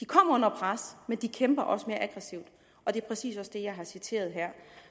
kommet under pres men de kæmper også mere aggressivt og det er præcis også det jeg har citeret her